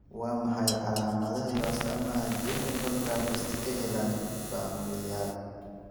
Waa maxay calaamadaha iyo astaamaha Genu valgum, st Helena familial?